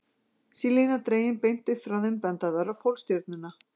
Sé lína dregin beint upp frá þeim, benda þær á Pólstjörnuna.